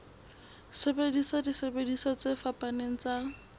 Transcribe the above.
sebedisa disebediswa tse fapaneng tsa